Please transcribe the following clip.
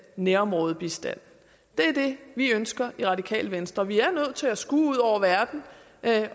nærområdebistand det er det vi ønsker i radikale venstre vi er nødt til at skue ud over verden